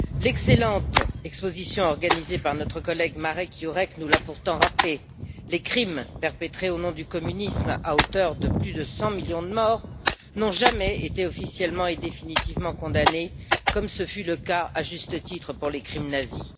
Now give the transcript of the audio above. L'excellente exposition organisée par notre collègue, Marek Jurek, nous l'a pourtant rappelé les crimes perpétrés au nom du communisme à hauteur de plus de cent millions de morts n'ont jamais été officiellement et définitivement condamnés, comme ce fut le cas, à juste titre, pour les crimes nazis.